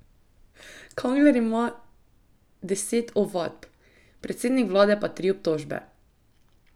Kangler ima deset ovadb, predsednik vlade pa tri obtožbe.